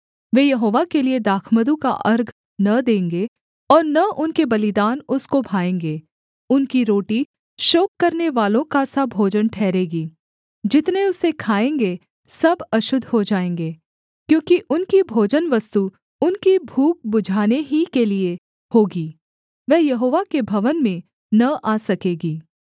वे यहोवा के लिये दाखमधु का अर्घ न देंगे और न उनके बलिदान उसको भाएँगे उनकी रोटी शोक करनेवालों का सा भोजन ठहरेगी जितने उसे खाएँगे सब अशुद्ध हो जाएँगे क्योंकि उनकी भोजनवस्तु उनकी भूख बुझाने ही के लिये होगी वह यहोवा के भवन में न आ सकेगी